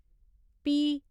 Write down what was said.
पी